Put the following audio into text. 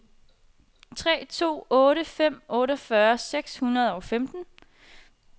tre to otte fem otteogfyrre seks hundrede og femten